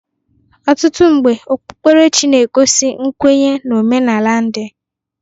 Ọtụtụ mgbe okpukperechi na-egosi nkwenye na omenala ndị.